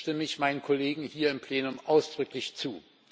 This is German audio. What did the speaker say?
Da stimme ich meinen Kollegen hier im Plenum ausdrücklich zu.